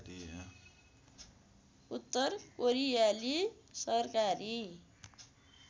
उत्तर कोरियाली सरकारी